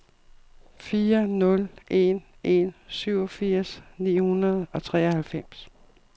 fire nul en en syvogfirs ni hundrede og treoghalvfems